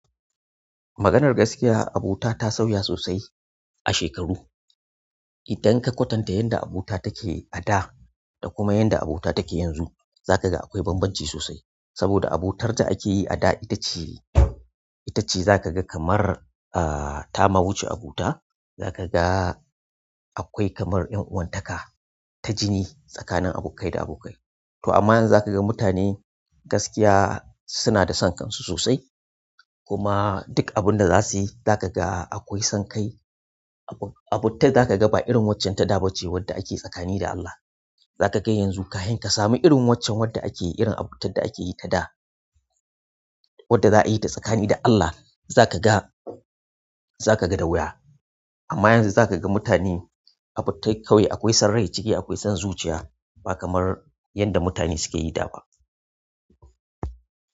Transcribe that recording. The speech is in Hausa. Maganar gaskiya abota ta sauya sosai a shekaru idan ka kwatanta yadda abota take a da da kuma yadda abota take yanzu, za ka ga akwai bambanci sosai. Saboda abotar da ake yi a da ita ce, ita ce za ka ga kamar, ah, ta mawuce abota. Za ka ga akwai kamar 'yan uwantaka ta jini tsakanin abokai da abokai. To amma yanzu za ka ga mutane gaskiya suna da son kansu sosai. Kuma duk abin da za su yi, za ka ga akwai son kai. Abota za ka ga ba irin waccen ta dabance wadda ake tsakani da Allah. Za ka ga yanzu kafin ka sami irin waccen wadda ake yi irin abotar da ake yi ta da, wadda za a yi ta tsakani da Allah. Za kaga, za kaga da wuya. Amma yanzu za ka ga mutane abota kawai. Akwai sok rai ciki, akwai son zuciya ba kamar yadda mutane suke yi da ba.